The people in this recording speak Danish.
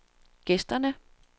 gæsterne